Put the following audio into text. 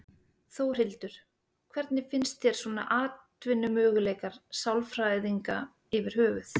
Þórhildur: Hvernig finnst þér svona atvinnumöguleikar sálfræðinga yfir höfuð?